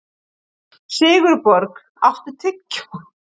Sigurborg, áttu tyggjó?